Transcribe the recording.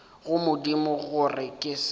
go modimo gore ke se